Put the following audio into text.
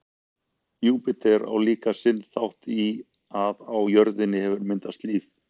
júpíter á líka sinn þátt í að á jörðinni hefur myndast líf